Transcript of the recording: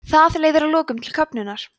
það leiðir að lokum til köfnunar